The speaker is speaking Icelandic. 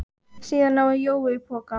Síðan náði Jói í poka.